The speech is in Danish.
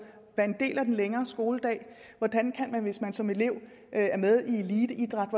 være en del af den længere skoledag hvordan kan man hvis man som elev er med i eliteidræt